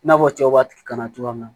I n'a fɔ cɛw b'a kalan cogoya min na